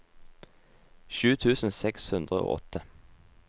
sju tusen seks hundre og åtte